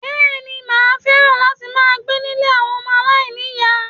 Bẹ́ẹ̀ni, Maa fẹ́ràn láti máa gbé nílé àwọn ọmọ aláìníyàá.